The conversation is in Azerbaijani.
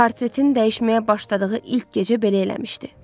Portretin dəyişməyə başladığı ilk gecə belə eləmişdi.